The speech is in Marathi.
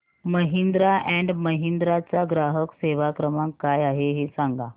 महिंद्रा अँड महिंद्रा चा ग्राहक सेवा क्रमांक काय आहे हे सांगा